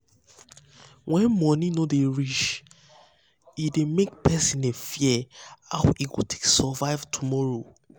when money no dey reach no dey reach e dey make person dey fear how e go take survive tomorrow.